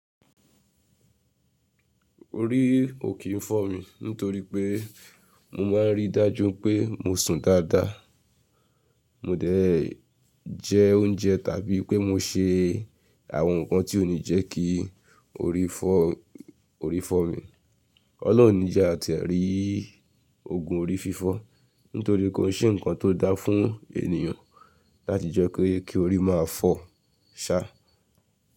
Orí ò kí n fọ́ mi nítorí pé mo máa ń rí dájú pé mo sùn dáadáa, mo dẹ̀ jẹ oúnjẹ tàbí pé mo ṣe àwọn nkan tí ó ní jẹ́ kí orí fọ́ mi. Ọlọ́run ní jẹ́ àtẹ̀rí òògùn orí fífọ́ nítorí kí ó ṣe ǹkan tó dáa fún ènìyàn láti jẹ́ kí orí máa fọ́ ṣá.